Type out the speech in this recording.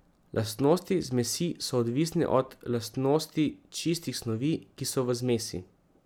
Lastnosti zmesi so odvisne od lastnosti čistih snovi, ki so v zmesi.